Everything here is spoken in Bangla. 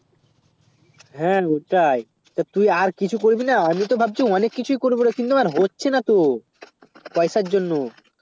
হেঁ ওটাই তো তুই আর কিছু করবি না আমি তো ভাবছি অনেক কিছু ই করবো রে কিন্তু আমার হচ্ছেই না তো পয়সার জন্য